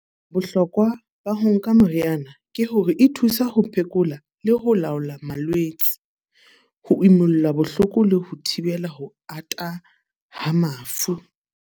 Bohlokwa ba ho nka meriana. Ke hore e thusa ho phekola le ho laola malwetse. Ho imulla bohloko le ho thibela ho ata ha mafu.